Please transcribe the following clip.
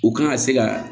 U kan ka se ka